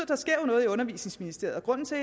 der sker noget i undervisningsministeriet og grunden til